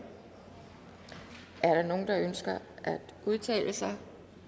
er der nogen der ønsker at udtale sig